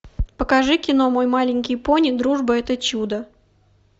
покажи кино мой маленький пони дружба это чудо